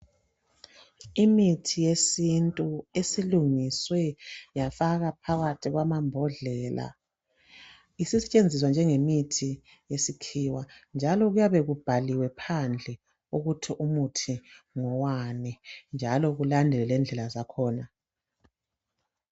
Imithi yesintu esilungiswe yafakwa phakathi kwamambodlela, isisetshenziswa njenge mithi yesikhiwa njalo kuyabe kubhaliwe phandle ukuthi umuthi ngowani njalo kulandelwe lendlela zakhona.